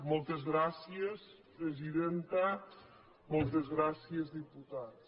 moltes gràcies presidenta moltes gràcies diputats